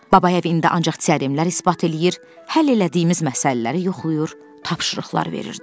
Babayev indi ancaq teoremlər isbat eləyir, həll elədiyimiz məsələləri yoxlayır, tapşırıqlar verirdi.